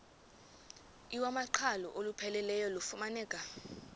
iwamaqhalo olupheleleyo lufumaneka